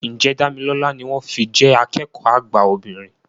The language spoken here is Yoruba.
Ǹjẹ́ Dámilọ́lá ni wọ́n fi jẹ́ akẹ́kọ̀ọ́ àgbà obìnrin